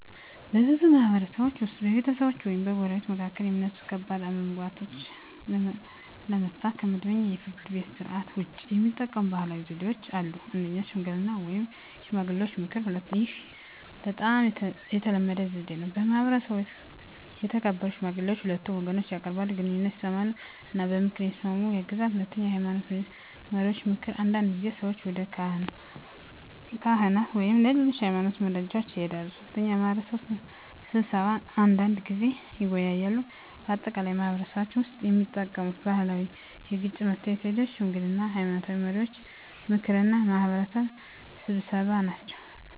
በብዙ ማህበረሰቦች ውስጥ በቤተሰቦች ወይም በጎረቤቶች መካከል የሚነሱ ከባድ አለመግባባቶችን ለመፍታት ከመደበኛው የፍርድ ቤት ሥርዓት ውጭ የሚጠቀሙ ባህላዊ ዘዴዎች አሉ። 1. ሽምግልና (የሽማግሌዎች ምክር) ይህ በጣም የተለመደ ዘዴ ነው። በማህበረሰቡ የተከበሩ ሽማግሌዎች ሁለቱን ወገኖች ያቀርባሉ፣ ችግኙን ይሰሙ እና በምክር እንዲስማሙ ያግዛሉ። 2. የሃይማኖት መሪዎች ምክር አንዳንድ ጊዜ ሰዎች ወደ ካህናት ወይም ሌሎች የሃይማኖት መሪዎች ይሄዳሉ። 3. የማህበረሰብ ስብሰባ አንዳንድ ጊዜ የማህበረሰቡ ሰዎች ይሰበሰባሉ እና ችግኙን በጋራ ይወያያሉ። በአጠቃላይ በማህበረሰባችን ውስጥ የሚጠቀሙት ባህላዊ የግጭት መፍትሄ ዘዴዎች ሽምግልና፣ የሃይማኖት መሪዎች ምክር እና የማህበረሰብ ስብሰባ ናቸው።